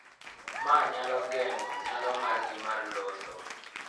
Ma nyalo geng�o nyalo margi mar loso .